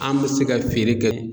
An bɛ se ka feere kɛ